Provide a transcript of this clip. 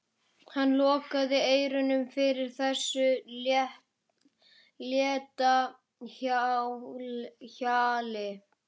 Hann lokaði eyrunum fyrir þessu létta hjali.